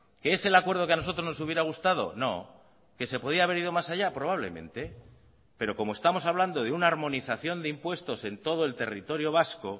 que es el acuerdo que a nosotros nos hubiera gustado no qué se podía haber ido más allá probablemente pero como estamos hablando de una armonización de impuestos en todo el territorio vasco